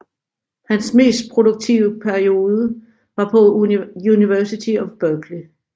Hans mest produktive periode var på University of Berkeley